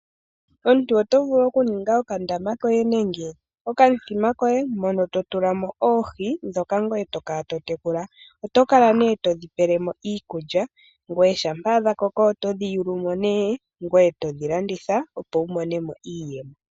Omuntu oto vulu oku ninga okandama koye nenge okamuthima koye mono to tulamo oohi dhoka ngoye tokala to tekula. Oto kala nee todhi pele mo iikulya. Ngoye shampa dha koko otodhi yulumo nee ngoye todhi landitha ngoye wu mone mo iiyemo.